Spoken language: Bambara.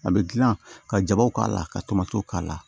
A bɛ dilan ka jabaw k'a la ka tomtow k'a la